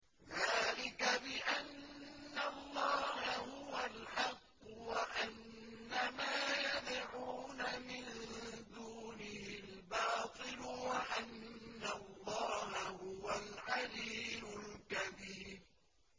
ذَٰلِكَ بِأَنَّ اللَّهَ هُوَ الْحَقُّ وَأَنَّ مَا يَدْعُونَ مِن دُونِهِ الْبَاطِلُ وَأَنَّ اللَّهَ هُوَ الْعَلِيُّ الْكَبِيرُ